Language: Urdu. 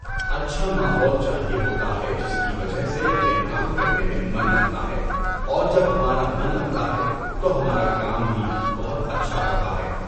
اچھا ماحول چاہیے ہوتا ہے جس کی وجہ سے ہمیں کام کرنے میں مَن لگتا ہے اور جب ہمارا مَن لگتا ہے تو ہمارا کام بھی بہت اچھا ہوتا ہے۔